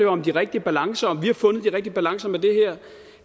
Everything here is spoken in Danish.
om de rigtige balancer om vi har fundet de rigtige balance med det her